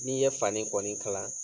N'i ye fani kɔni kala